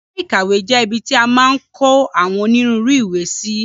Yàrá ìkàwé jẹ́ ibi ti a maa n kó àwọn onírúurú ìwé sí.